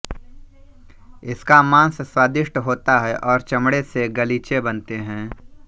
इसका मांस स्वादिष्ट होता है और चमड़े से गलीचे बनते हैं